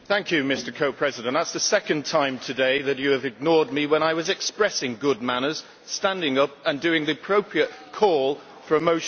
Mr President, that is the second time today that you have ignored me when I was expressing good manners, standing up and doing the appropriate call for a motion.